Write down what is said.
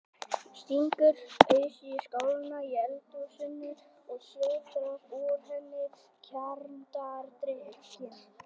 Stingur ausu í skálina í eldhúsinu og sötrar úr henni kjarnadrykkinn.